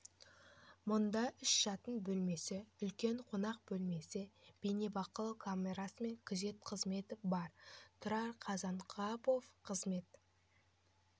мұнда үш жатын бөлмесі үлкен қонақ бөлмесі бейнебақылау камерасы мен күзет қызметі бар тұрар қазанғапов қызмет